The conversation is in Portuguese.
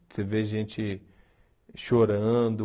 Você vê gente chorando.